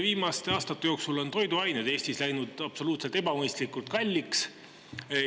Viimaste aastate jooksul on toiduained Eestis läinud absoluutselt ebamõistlikult kalliks.